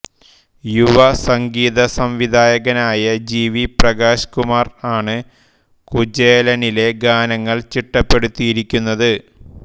യുവ സംഗീത സംവിധായകനായ ജി വി പ്രകാശ് കുമാർ ആണ് കുചേലനിലെ ഗാനങ്ങൾ ചിട്ടപ്പെടുത്തിയിരിക്കുന്നത്